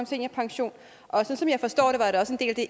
seniorpension og som jeg forstår det var det også